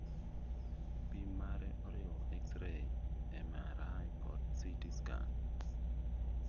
Pim mare oriwo X rays, MRI kod CT scan